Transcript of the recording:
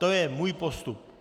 To je můj postup.